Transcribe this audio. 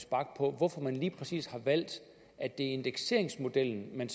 bach på hvorfor man lige præcis har valgt at det er indekseringsmodellen man